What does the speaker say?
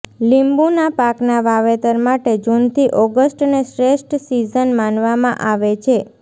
લીંબુના પાકના વાવેતર માટે જૂનથી ઓગસ્ટને શ્રેષ્ઠ સિઝન માનવામાં આવે છે